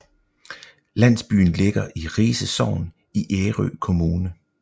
Landsbyen ligger i Rise Sogn i Ærø Kommune